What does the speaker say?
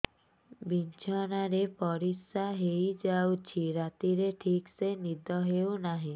ବିଛଣା ରେ ପରିଶ୍ରା ହେଇ ଯାଉଛି ରାତିରେ ଠିକ ସେ ନିଦ ହେଉନାହିଁ